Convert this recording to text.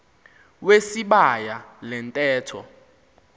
wesibaya le ntetho